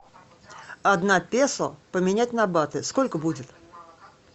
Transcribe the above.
одна песо поменять на баты сколько будет